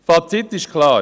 Das Fazit ist klar.